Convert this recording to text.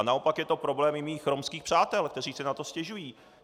A naopak je to problém i mých romských přátel, kteří si na to stěžují.